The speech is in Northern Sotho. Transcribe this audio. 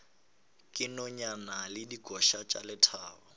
dinonyane le dikoša tša lethabo